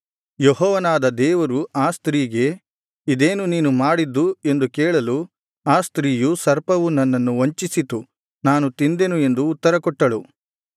ಯೆಹೋವನಾದ ದೇವರು ಆ ಸ್ತ್ರೀಗೆ ಇದೇನು ನೀನು ಮಾಡಿದ್ದು ಎಂದು ಕೇಳಲು ಆ ಸ್ತ್ರೀಯು ಸರ್ಪವು ನನ್ನನ್ನು ವಂಚಿಸಿತು ನಾನು ತಿಂದೆನು ಎಂದು ಉತ್ತರ ಕೊಟ್ಟಳು